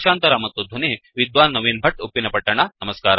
ಭಾಷಾಂತರ ಮತ್ತು ಧ್ವನಿ ವಿದ್ವಾನ್ ನವೀನ್ ಭಟ್ ಉಪ್ಪಿನಪಟ್ಟಣ